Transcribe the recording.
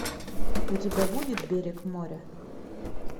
у тебя будет берег моря